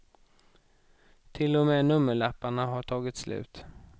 Till och med nummerlapparna har tagit slut.